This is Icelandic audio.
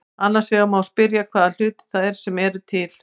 Annars vegar má spyrja hvaða hlutir það eru sem eru til.